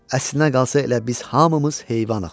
Əslinə qalsa elə biz hamımız heyvanıq.